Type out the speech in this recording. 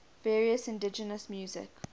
various indigenous music